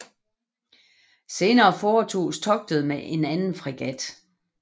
Senere foretoges togtet med en anden fregat